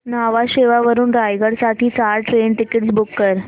न्हावा शेवा वरून रायगड साठी चार ट्रेन टिकीट्स बुक कर